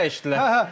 Qapısı dəyişdilər.